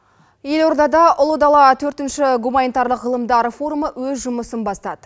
елордада ұлы дала төртінші гуманитарлық ғылымдар форумы өз жұмысын бастады